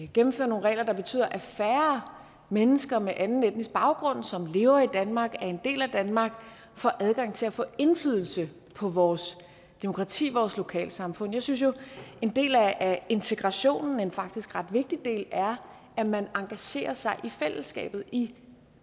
gennemføre nogle regler der betyder at færre mennesker med anden etnisk baggrund som lever i danmark og er en del af danmark får adgang til at få indflydelse på vores demokrati vores lokalsamfund jeg synes jo at en del af integrationen faktisk en ret vigtig del er at man engagerer sig i fællesskabet i